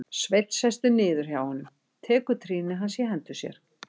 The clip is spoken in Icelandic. Sveinn sest niður hjá honum, tekur trýni hans í hendur sér.